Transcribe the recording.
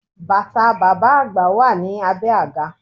Bàtà bàbá àgbà wà ní abé àga